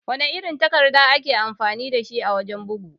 Wana irin takarda ake amfani dashi a wajan bugu?